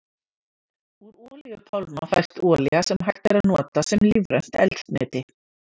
Úr olíupálma fæst olía sem hægt er að nota sem lífrænt eldsneyti.